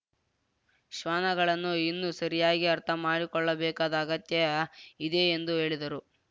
ಶ್ವಾನಗಳನ್ನು ಇನ್ನೂ ಸರಿಯಾಗಿ ಅರ್ಥಮಾಡಿಕೊಳ್ಳಬೇಕಾದ ಅಗತ್ಯ ಇದೆ ಎಂದು ಹೇಳಿದರು